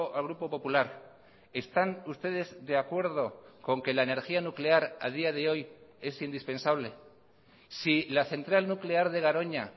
al grupo popular están ustedes de acuerdo con que la energía nuclear a día de hoy es indispensable si la central nuclear de garoña